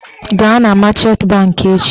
Gaa na machant bankị echi!